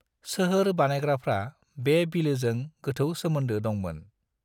सोहोर बानायग्राफ्रा बे बिलोजों गोथौ सोमोन्दो दंमोन।